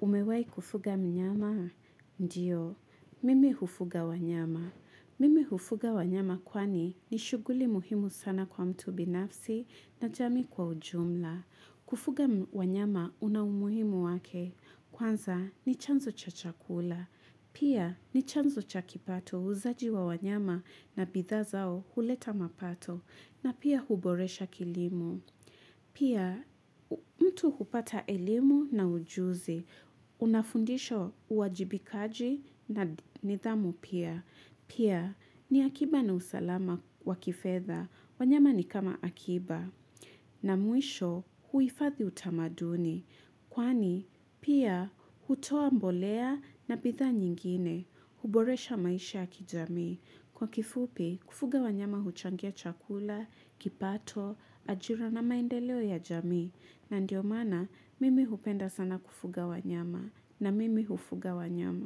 umewahi kufuga mnyama? Ndiyo, mimi hufuga wanyama. Mimi hufuga wanyama kwani ni shughuli muhimu sana kwa mtu binafsi na jamii kwa ujumla. Kufuga wanyama una umuhimu wake. Kwanza ni chanzo cha chakula. Pia ni chanzo cha kipato uuzaji wa wanyama na bidhaa zao huleta mapato. Na pia huboresha kilimo. Pia, mtu hupata elimu na ujuzi. Unafundishwa uwajibikaji na nidhamu pia. Pia, ni akiba na usalama wa kifedha. Wanyama ni kama akiba. Na mwisho huhifadhi utamaduni. Kwani pia hutoa mbolea na bidhaa nyingine, huboresha maisha ya kijamii. Kwa kifupi, kufuga wanyama huchangia chakula, kipato, ajira na maendeleo ya jamii. Na ndiyo maana, mimi hupenda sana kufuga wanyama. Na mimi hufuga wanyama.